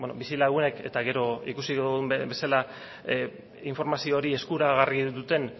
bizilagunek eta gero ikusi dugun bezala informazio hori eskuragarri duten